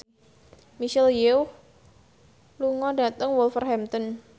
Michelle Yeoh lunga dhateng Wolverhampton